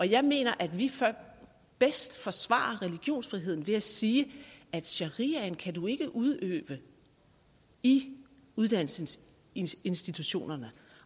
jeg mener at vi bedst forsvarer religionsfriheden ved at sige at sharia kan man ikke udøve i uddannelsesinstitutionerne